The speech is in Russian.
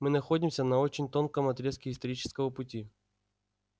мы находимся на очень тонком отрезке исторического пути